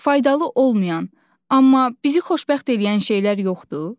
Faydalı olmayan, amma bizi xoşbəxt eləyən şeylər yoxdur?